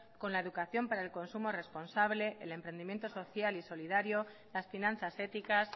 con la educación para el consumo responsable el emprendimiento social y solidario las finanzas éticas